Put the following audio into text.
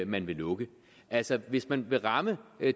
man vil lukke altså hvis man vil ramme